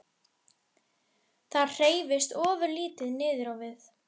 Það hreyfist ofurlítið niður á við.